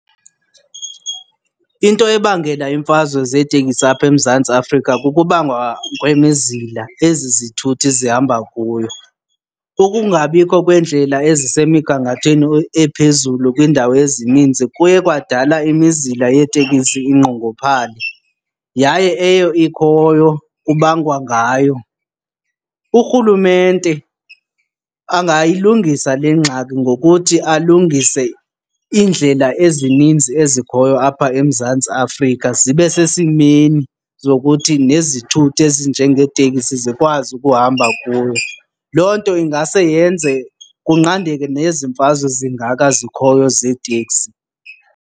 Into ebangela imfazwe zeeteksi apha eMzantsi Afrika kukubangwa kwemizila ezi zithuthi zihamba kuyo. Ukungabikho kweendlela ezisemigangathweni ephezulu kwiindawo ezininzi kuye kwadala imizila yeetekisi inqongophale yaye eyo ikhoyo kubangwa ngayo. URhulumente angayilungisa le ngxaki ngokuthi alungise iindlela ezininzi ezikhoyo apha eMzantsi Afrika zibe sesimeni zokuthi nezithuthi ezinjengeeteksi zikwazi ukuhamba kuyo. Loo nto ingase yenze kunqandeke nezi mfazwe zingaka zikhoyo zeeteksi.